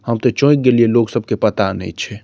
हम ते चौंक गेलइये लोग सब के पता नेए छै।